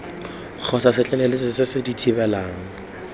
kgotsa setlaleletsi se se thibelang